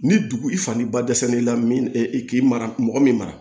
Ni dugu i fa ni ba dɛsɛ n'i la min k'i mara mɔgɔ min mara